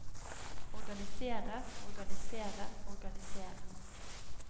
organisere organisere organisere